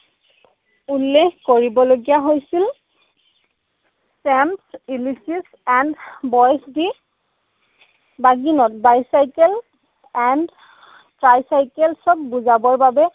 উল্লেখ কৰিবলগীয়া হৈছিল bicycle and tricycle ক বুজাবৰ বাবে